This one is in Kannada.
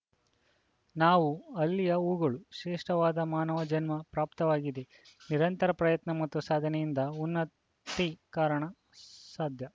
ನಾವು ಅಲ್ಲಿಯ ಹೂಗಳು ಶ್ರೇಷ್ಠವಾದ ಮಾನವ ಜನ್ಮ ಪ್ರಾಪ್ತವಾಗಿದೆ ನಿರಂತರ ಪ್ರಯತ್ನ ಮತ್ತು ಸಾಧನೆಯಿಂದ ಉನ್ನ ತಿ ಕಾಣಲು ಸಾಧ್ಯ